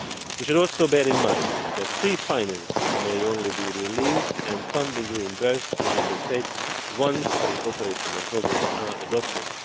We should also bear in mind that pre financing may only be released and funding reimbursed to Member States once the operational programmes are adopted.